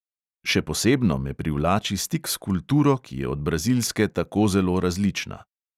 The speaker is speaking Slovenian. Še posebno me privlači stik s kulturo, ki je od brazilske tako zelo različna.